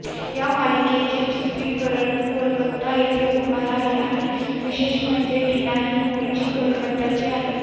या मालिकेचे चित्रीकरण कोलकता येथे होणार आहे आणि विशेष म्हणजे टीना ही मुळची कोलकताची आहे